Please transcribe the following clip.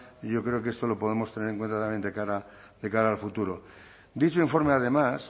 yo creo que esto lo podemos tener en cuenta también de cara al futuro dicho informe además